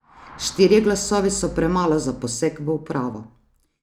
Štirje glasovi so premalo za poseg v upravo.